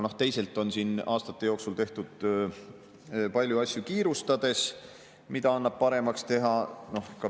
Teisalt on siin aastate jooksul tehtud palju asju kiirustades ja neid annab paremaks teha.